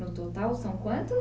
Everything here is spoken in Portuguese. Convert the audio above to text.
No total são quantas?